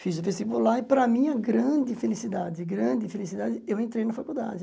Fiz o vestibular e, para a minha grande felicidade, grande felicidade, eu entrei na faculdade.